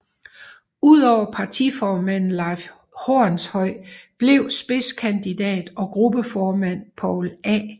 Udover partiformanden Leif Hornshøj blev spidskandidat og gruppeformand Poul A